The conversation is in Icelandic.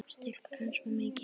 Styrkur hans var mikill.